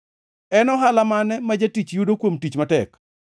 En ohala mane ma jatich yudo kuom tich matek?